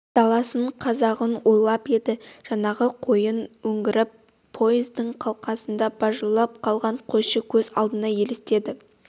даласын қазағын ойлап еді жаңағы қойын өңгеріп поездың қалқасында бажылдап қалған қойшы көз алдына елестеді